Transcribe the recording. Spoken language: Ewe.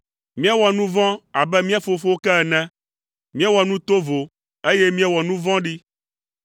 Míewɔ nu vɔ̃ abe mía fofowo ke ene; míewɔ nu tovo, eye míewɔ nu vɔ̃ɖi.